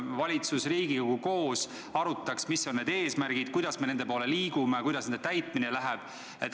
Valitsus ja Riigikogu arutaks koos, mis on meie eesmärgid, kuidas me nende poole liigume, kuidas nende täitmine läheb.